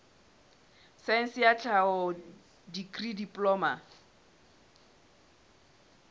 saense ya tlhaho dikri diploma